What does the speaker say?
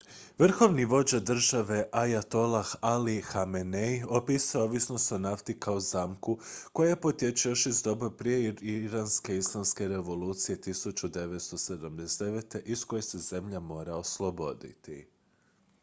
"vrhovni vođa države ajatolah ali hamenei opisao je ovisnost o nafti kao "zamku" koja potječe još iz doba prije iranske islamske revolucije 1979. iz koje se zemlja mora osloboditi.